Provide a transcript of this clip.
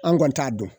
An kɔni t'a dɔn